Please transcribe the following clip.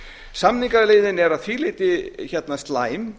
samningaleiðin er að því leyti slæm